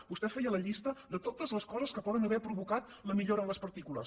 vostè feia la llista de totes les coses que poden haver provocat la millora en les partícules